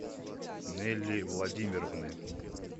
нелли владимировны